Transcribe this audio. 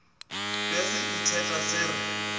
ge se itheta se re